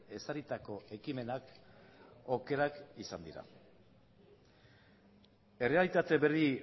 ezarritako ekimenak okerrak izan dira errealitate berri